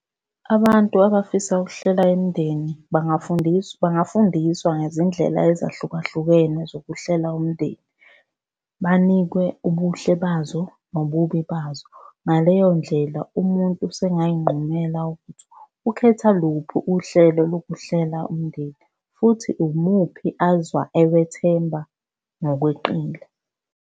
Abantu abafisa ukuhlela imndeni bangafundiswa, bangafundiswa ngezindlela ezahlukahlukene zokuhlela umndeni. Banikwe ubuhle bazo nobubi bazo. Ngaleyo ndlela umuntu usengay'nqumela ukuthi ukhethe luphi uhlelo lokuhlela umndeni futhi umuphi azwa ewethemba ngokweqile.